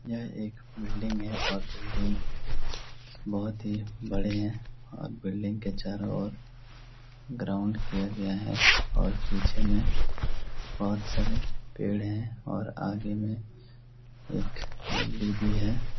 यह एक बिल्डिंग है और बिल्डिंग बहुत ही बड़े है और बिल्डिंग के चारों ओर ग्राउन्ड किया गया है और पीछे मे बहुत सारे पेड़ हैं और आगे मे एक गली भी है ।